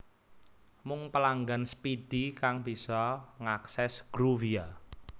Mung pelanggan Speedy kang bisa ngakses Groovia